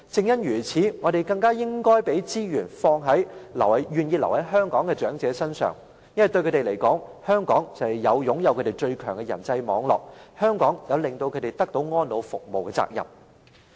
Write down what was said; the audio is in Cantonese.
因此，我們更應該把資源投放在願意留在香港的長者身上。因為，對他們而言，香港就是他們擁有最強人際網絡的地方，香港亦有讓他們得到安老服務的責任。